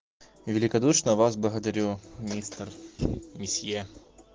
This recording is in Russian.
великодушно вас благодарю мистер месье